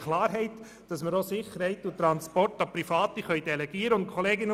Wir haben Klarheit darüber, dass wir auch Sicherheit und Transport an Private delegieren können.